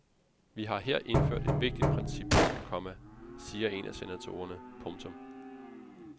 Vi har her indført et vigtigt princip, komma siger en af senatorerne. punktum